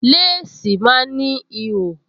Léèsì máa ń ní ihò